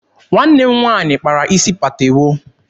Nwanne m nwaanyị kpara isi patewo.